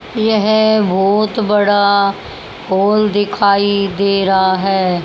यह बहुत बड़ा हॉल दिखाई दे रहा है।